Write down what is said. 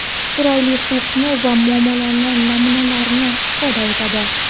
chiroyli xulqni va muomala namunalarini ifoda etadi.